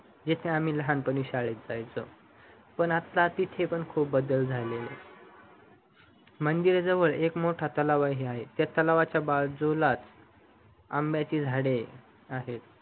तेथे आम्ही लहानपणी शाळेत जायचो पण आता तिथे पण खूप बदल झालेले मंदिराजवळ एक मोठा तलाव आहे त्या लटवाच्या बाजूलाच आंब्याची झाडे आहेत